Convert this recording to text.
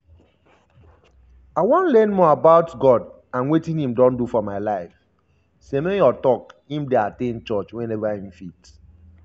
i wan learn more about god and wetin im don do for my life" semenyo tok im dey at ten d church whenever im fit.